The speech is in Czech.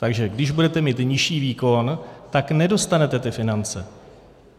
Takže když budete mít nižší výkon, tak nedostanete ty finance.